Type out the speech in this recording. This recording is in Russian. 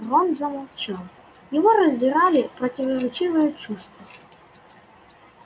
рон замолчал его раздирали противоречивые чувства